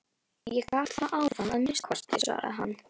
Ég gat það áðan að minnsta kosti, svaraði hann.